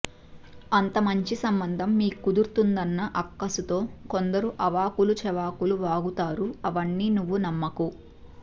అంత మంచి సంబంధం మీకు కుదురుతుందన్న అక్కసుతో కొందరు అవాకులు చవాకులు వాగుతారు అవన్నీ నువ్వు నమ్మకు